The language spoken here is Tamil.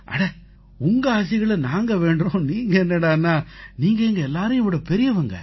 அட உங்க ஆசிகளை நாங்க வேண்டறோம் நீங்க என்னடான்னா நீங்க எங்க எல்லாரையும் விடப் பெரியவங்க